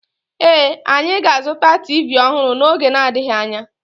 Ee, anyị ga-azụta TV ọhụrụ n'oge n'adịghị anya